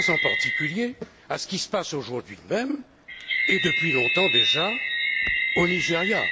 Je pense, en particulier, à ce qui se passe aujourd'hui même, et depuis longtemps déjà, au Nigéria.